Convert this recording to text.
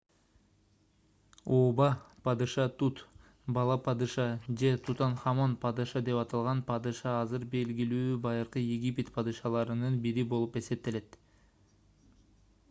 ооба падыша тут бала падыша же тутанхамон падыша деп аталган падыша азыр белгилүү байыркы египет падышаларынын бири болуп эсептелет